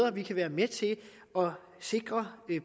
at vi kan være med til at sikre